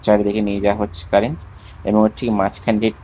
চারিদিকে নিয়ে যাওয়া হচ্ছে কারেন্ট এবং এর ঠিক মাঝখান দিয়ে--